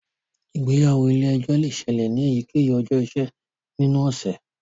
Ìgbéyàwó ilè ejó le ṣẹlẹ ní eyikeyi ọjọ iṣẹ ninu ọsẹ.